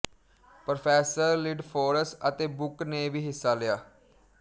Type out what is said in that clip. professor Lidforss ਅਤੇ Book ਨੇ ਵੀ ਹਿੱਸਾ ਲਿਆ